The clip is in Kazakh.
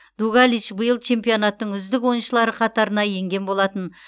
дугалич биыл чемпионаттың үздік ойыншылары қатарына енген болатын